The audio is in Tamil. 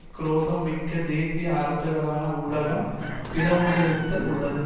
குரோதம் மிக்க தேசிய அரசுகளான உலகம் பிளவுண்டிருத்தல் உள்ளது